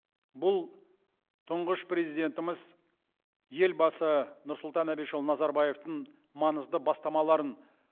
бұл тұңғыш президентіміз елбасы нұрсұлтан әбішұлыназарбаевтың маңызды бастамаларын